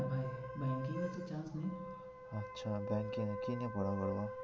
. আচ্ছা .